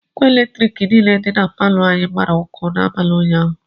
Ngwa Eletriki niile dị na palọ anyị gbara ọkụ n'abalị ụnyaahụ